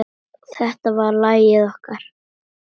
Þetta var lagið okkar.